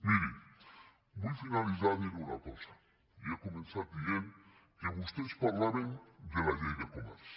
miri vull finalitzar dient una casa i he començat dient que vostès parlaven de la llei de comerç